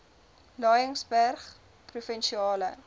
laingsburgprovinsiale